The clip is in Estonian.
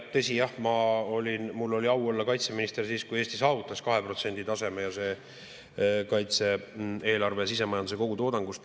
Tõsi, jah, mul oli au olla kaitseminister siis, kui Eesti kaitse-eelarve saavutas 2% taseme sisemajanduse kogutoodangust.